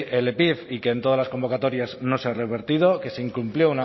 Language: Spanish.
el epif y que en todas las convocatorias no se ha revertido que se incumplió